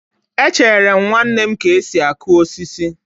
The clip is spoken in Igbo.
Echere m nwanne m ka esi akụ osisi